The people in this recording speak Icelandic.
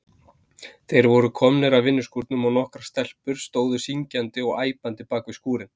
Þeir voru komnir að vinnuskúrnum og nokkrar stelpur stóðu syngjandi og æpandi bakvið skúrinn.